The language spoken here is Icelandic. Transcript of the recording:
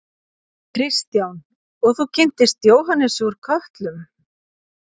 Kristján: Og þú kynntist Jóhannesi úr Kötlum?